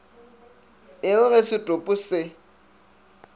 e re ge setopo se